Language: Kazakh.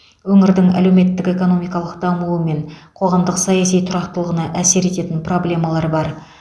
өңірдің әлеуметтік экономикалық дамуы мен қоғамдық саяси тұрақтылығына әсер ететін проблемалар бар